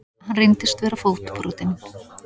Hann reyndist vera fótbrotinn